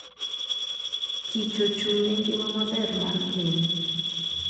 kich ochung'ne ngima maber mar piny.